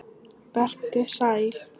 Vertu sæl.